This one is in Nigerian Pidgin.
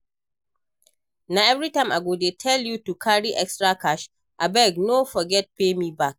Na everytime I go dey tell you to carry extra cash? Abeg no forget to pay me back